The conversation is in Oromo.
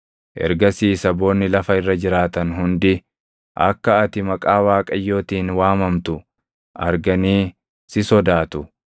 Ergasii saboonni lafa irra jiraatan hundi akka ati maqaa Waaqayyootiin waamamtu arganii si sodaatu.